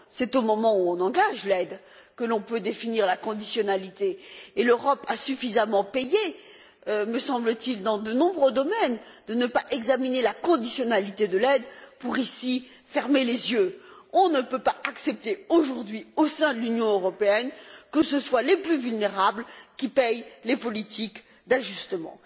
C'est au moment où on engage l'aide que l'on peut définir la conditionnalité et l'Europe a suffisamment payé, me semble t il, dans de nombreux domaines, de ne pas examiner la conditionnalité de l'aide pour fermer les yeux dans ce cas. On ne peut pas accepter aujourd'hui, au sein de l'Union européenne, que ce soit les plus vulnérables qui paient les politiques d'ajustement.